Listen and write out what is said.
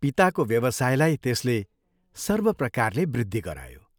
पिताको व्यवसायलाई त्यसले सर्वप्रकारले वृद्धि गरायो।